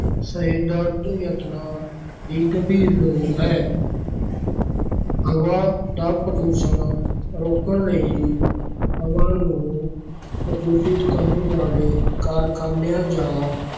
ਯਤਨਾਂ ਦੀ ਗੰਭੀਰ ਲੋੜ ਹੈ ਹਵਾ ਦਾ ਪ੍ਰਦੂਸ਼ਣ ਰੋਕਣ ਲਈ ਹਵਾ ਨੂੰ ਪ੍ਰਦੂਸ਼ਿਤ ਕਰਨ ਵਾਲੇ ਕਾਰਖ਼ਾਨਿਆਂ ਜਾਂ